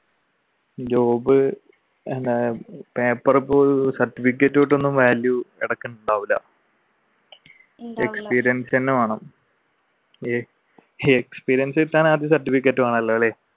job paper ഇപ്പൊ ഒരു certificate value ഇടക്ക് ഉണ്ടാവൂല experience തന്നെ വേണം experience കിട്ടാൻ ആദ്യം certificate വേണം.